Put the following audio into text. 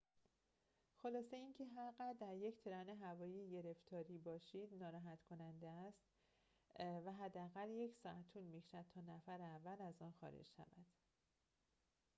خلاصه اینکه هر قدر در یک ترن هوایی گرفتاری باشید ناراحت کننده است و حداقل یک ساعت طول می‌کشد تا نفر اول از آن خارج شود